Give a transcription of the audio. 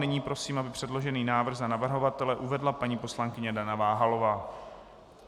Nyní prosím, aby předložený návrh za navrhovatele uvedla paní poslankyně Dana Váhalová.